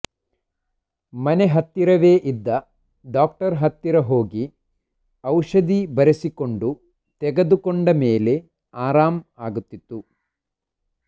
ಮನೆ ಹತ್ತಿರವೇ ಇದ್ದ ಡಾಕ್ಟರ್ ಹತ್ತಿರ ಹೋಗಿ ಔಷಧಿ ಬರೆಸಿಕೊಂಡು ತೆಗೆದುಕೊಂಡ ಮೇಲೆ ಆರಾಂ ಆಗುತ್ತಿತ್ತು